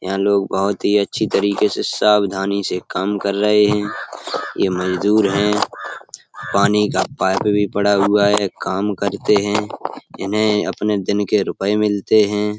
यहाँ लोग बहुत ही अच्छी तरीके से सावधानी से काम कर रहे हैं। ये मजदूर हैं। पानी का पाइप भी पड़ा हुआ है। काम करते हैं। इन्हें अपने दिन के रुपये मिलते हैं।